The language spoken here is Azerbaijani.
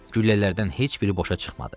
Güllələrdən heç biri boşa çıxmadı.